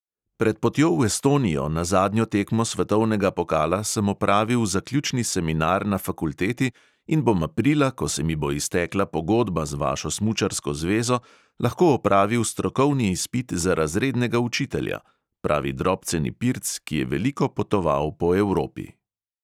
"Pred potjo v estonijo, na zadnjo tekmo svetovnega pokala, sem opravil zaključni seminar na fakulteti in bom aprila, ko se mi bo iztekla pogodba z vašo smučarsko zvezo, lahko opravil strokovni izpit za razrednega učitelja," pravi drobceni pirc, ki je veliko potoval po evropi.